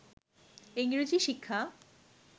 ইংরেজি শিক্ষা